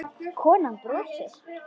Konan brosir.